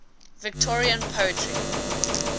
victorian poetry